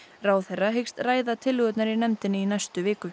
ráðherra hyggst ræða tillögurnar í nefndinni í næstu viku